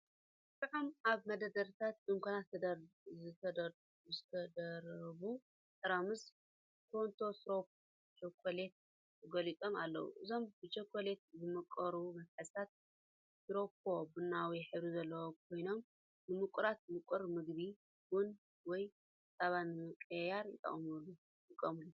ጥዑም! ኣብ መደርደሪታት ድኳናት ዝተደራረቡ ጥርሙዝ 'ኬንት ሲሮፕ ቸኮሌት' ተገሊጾም ኣለዉ። እዞም ብቸኮሌት ዝመቐሩ መትሓዚታት ሽሮፕ ቡናዊ ሕብሪ ዘለዎም ኮይኖም ንመቐረት ምቁር ምግቢ፡ ቡን ወይ ጸባ ንምምቃር ይጥቀሙሉ።